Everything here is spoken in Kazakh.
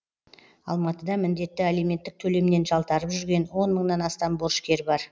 алматыда міндетті алименттік төлемнен жалтарып жүрген он мыңнан астам борышкер бар